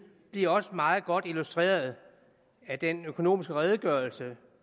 er også meget godt illustreret af den økonomiske redegørelse